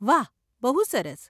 વાહ, બહુ સરસ.